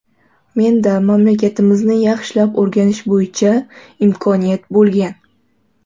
Menda mamlakatimizni yaxshilab o‘rganish bo‘yicha imkoniyat bo‘lgan.